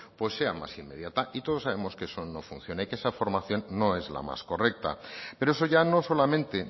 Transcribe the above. pues sean más inmediata y todos sabemos que eso no funciona y que esa formación no es la más correcta pero eso ya no solamente